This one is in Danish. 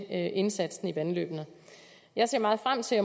indsatsen i vandløbene jeg ser meget frem til